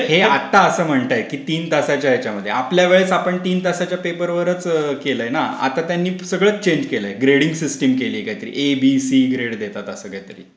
हे आता असं म्हणतयत तीन तासांच्या ह्याच्यामध्ये आपल्यावेळेस आपण तीन तासांच्या पेपरवरच केला आहे ना. आता त्यांनी सगळंच चेंज केलंय. ग्रेडिंग सिस्टम केलीय काहीतरी ए बी सी ग्रेड देतात असं काहीतरी....